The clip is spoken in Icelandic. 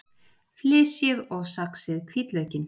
Flysjið og saxið hvítlaukinn.